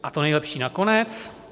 A to nejlepší nakonec.